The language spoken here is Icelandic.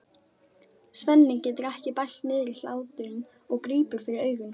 Svenni getur ekki bælt niðri hláturinn og grípur fyrir augun.